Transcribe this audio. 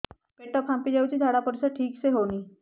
ପେଟ ଫାମ୍ପି ଯାଉଛି ଝାଡ଼ା ପରିସ୍ରା ଠିକ ସେ ହଉନି